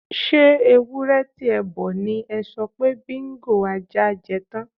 S̩e ewúré̩ ti e̩ bo̩ ni e̩ so̩ pé Bingo (ajá) je̩ tán?